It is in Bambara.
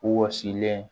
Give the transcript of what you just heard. U wɔsilen